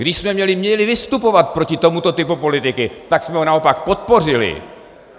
Když jsme měli vystupovat proti tomuto typu politiky, tak jsme ho naopak podpořili!